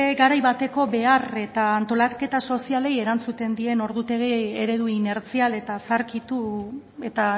garai bateko behar eta antolaketa sozialei erantzuten dien ordutegi eredu inertzial zaharkitu eta